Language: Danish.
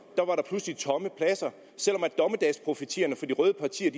selv om dommedagsprofetierne fra de røde partier